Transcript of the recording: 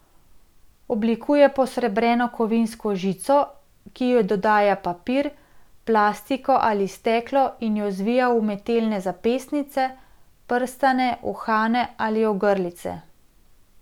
Oblikuje posrebreno kovinsko žico, ki ji dodaja papir, plastiko ali steklo in jo zvija v umetelne zapestnice, prstane, uhane ali ogrlice.